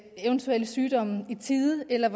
eventuelle sygdomme i tide eller